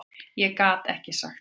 Ég gat ekki sagt nei.